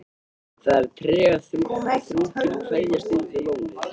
Það er tregaþrungin kveðjustund við lónið.